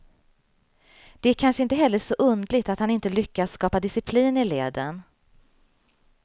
Det är kanske inte heller så underligt att han inte lyckas skapa disciplin i leden.